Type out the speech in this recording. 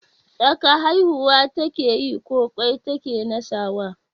Tsaka haihuwa ta keyi ko ƙwai ta ke nasawa?